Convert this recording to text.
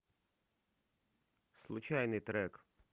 случайный трек